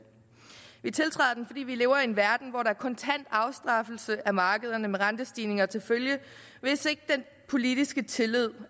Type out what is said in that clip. vi tiltræder den fordi vi lever i en verden hvor der er kontant afstraffelse af markederne med rentestigninger til følge hvis den politiske tillid